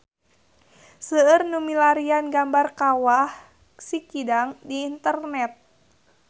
Seueur nu milarian gambar Kawah Sikidang di internet